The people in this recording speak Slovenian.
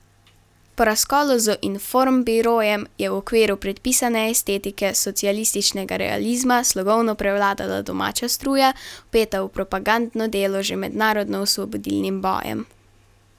Po razkolu z informbirojem je v okviru predpisane estetike socialističnega realizma slogovno prevladala domača struja, vpeta v propagandno delo že med narodnoosvobodilnim bojem.